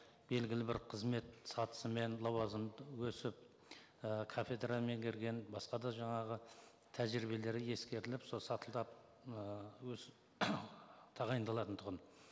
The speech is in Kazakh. белгілі бір қызмет сатысымен лауазымы өсіп і кафедра меңгерген басқа да жаңағы тәжірибелері ескеріліп сол сатылап тағайындалатын тұғын